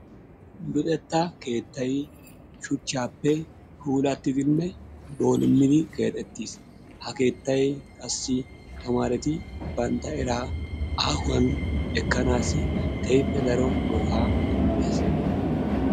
Luxetta keettay shuchchaappe puulattidinne boolummidi keexettis qassi ha keettay qassi tamaareti bantta eraa aahuwan ekkanaassi kehippe daro go'aa immes.